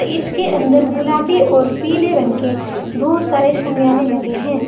इसके अंदर गुलाबी और पीले रंग के बहुत सारे शमीयाने लगे हैं।